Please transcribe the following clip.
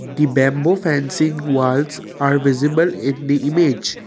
the bamboo fencing walls are visible in the image.